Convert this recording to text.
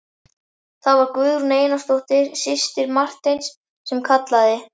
Það var Guðrún Einarsdóttir, systir Marteins sem kallaði.